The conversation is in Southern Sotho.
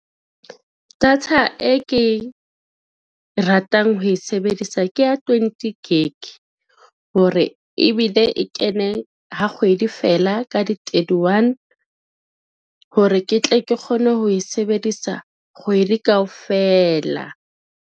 Data e ke ratang ho e sebedisa ke ya twenty Gig, hore ebile e kene ha kgwedi fela ka di-thirty one hore ke tle ke kgone ho e sebedisa kgwedi kaofela.